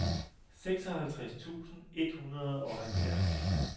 seksoghalvtreds tusind et hundrede og halvfjerds